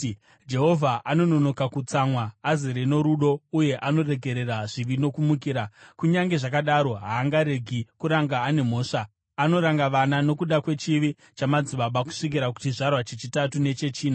‘Jehovha anononoka kutsamwa, azere norudo uye anoregerera zvivi nokumukira. Kunyange zvakadaro haangaregi kuranga ane mhosva, anoranga vana nokuda kwechivi chamadzibaba kusvikira kuchizvarwa chechitatu nechechina.’